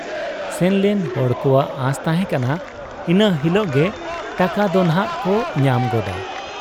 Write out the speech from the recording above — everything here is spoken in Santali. ᱥᱮᱱᱞᱮᱱ ᱦᱚᱲ ᱠᱚᱣᱟᱜ ᱟᱸᱥ ᱛᱟᱦᱮᱸ ᱠᱟᱱᱟ ᱤᱱᱟᱹ ᱦᱤᱞᱚᱜ ᱜᱮ ᱴᱟᱠᱟ ᱫᱚᱱᱷᱟᱜ ᱠᱚ ᱧᱟᱢ ᱜᱚᱫᱟ ᱾